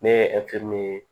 Ne ye ye